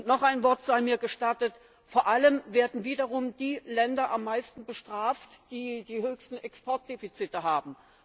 Noch ein Wort sei mir gestattet Vor allem werden wiederum die Länder am meisten bestraft, die die höchsten Exportdefizite haben.